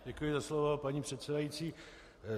Děkuji za slovo, paní předsedající.